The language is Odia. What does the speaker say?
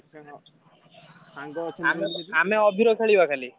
ସାଙ୍ଗ ଅଛନ୍ତି ଆମେ ଅଭୀର ଖେଳିବା ଖାଲି।